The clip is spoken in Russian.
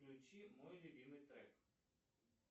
включи мой любимый трек